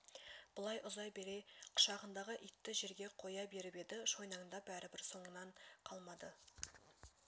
былай ұзай бере құшағындағы итті жерге қоя беріп еді шойнаңдап бәрібір соңынан қалмады